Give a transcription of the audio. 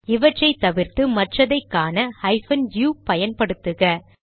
இவற்றை தவிர்த்து மற்றதை காண ஹைபன் யு பயன்படுத்துக